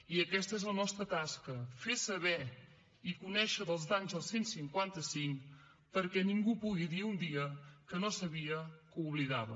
i aquesta és la nostra tasca fer saber i conèixer els danys del cent i cinquanta cinc perquè ningú pugui dir ni un dia que no sabia que oblidava